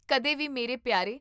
ਕਦੇ ਵੀ ਮੇਰੇ ਪਿਆਰੇ